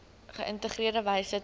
geïntegreerde wyse tuis